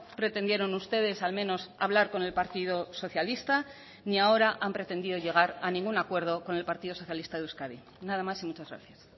pretendieron ustedes al menos hablar con el partido socialista ni ahora han pretendido llegar a ningún acuerdo con el partido socialista de euskadi nada más y muchas gracias